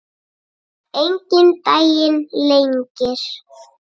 Enginn daginn lengir.